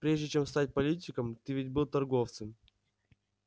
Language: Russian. прежде чем стать политиком ты ведь был торговцем